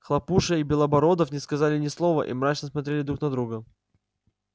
хлопуша и белобородов не сказали ни слова и мрачно смотрели друг на друга